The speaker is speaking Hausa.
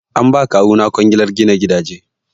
An ba ma kawuna kwangilar gina gidaje.